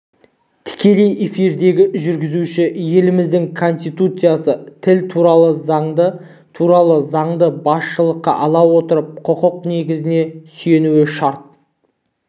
тікелей эфирдегі жүргізуші еліміздің конституциясын тіл туралы заңды туралы заңды басшылыққа ала отырып құқық негіздеріне сүйенуі шарт